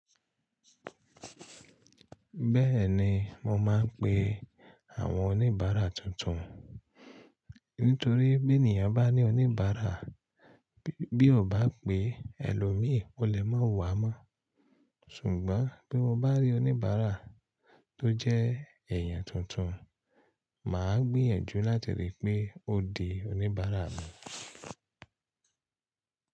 Bẹ́ẹ̀ni mo máa ń pe àwọn oníbàárà tuntun. Nítorí bí ènìyàn bá ní oníbàárà bí ó bá pè ẹlòmíì o lè máa wà mọ́. Ṣùgbọ́n bí mo bá rí oníbàárà tó jẹ́ èèyàn tuntun, màá gbìyànjú láti rí i pé ó di oníbàárà mi.